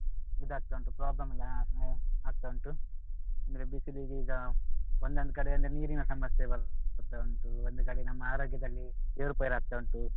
ಇದಾಗ್ತಾ ಉಂಟು problem ಆಗ್ತಾ ಉಂಟು ಅಂದ್ರೆ ಬಿಸಿಲಿಗೀಗ ಒಂದೊಂದ್ ಕಡೆ ಎಲ್ಲ ನೀರಿನ ಸಮಸ್ಯೆ ಬರ್ತಾ ಉಂಟು ಒಂದು ಕಡೆ ನಮ್ಮ ಆರೋಗ್ಯದಲ್ಲಿ ಏರುಪೇರಾಗ್ತಾ ಉಂಟು